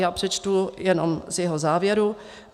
Já přečtu jenom z jeho závěru.